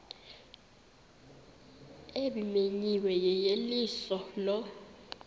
ebimenyiwe yeyeliso lo